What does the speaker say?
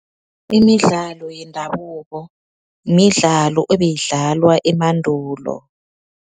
Imidlalo yendabuko midlalo ebeyidlalwa emandulo.